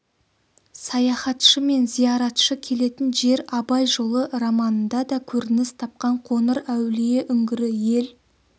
саяхатшы мен зияратшы келетін жер абай жолы романында да көрініс тапқан қоңыр әулие үңгірі ел